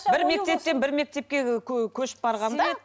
бір мектептен бір мектепке і көшіп барғанда